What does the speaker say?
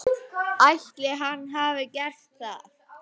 Ætli hann hafi gert það?